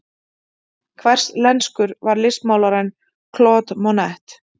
Hverslenskur var listmálarinn Claude Monet?